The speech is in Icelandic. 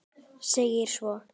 segir svo